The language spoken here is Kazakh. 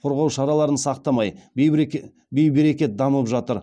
қорғау шараларын сақтамай бейберекет дамып жатыр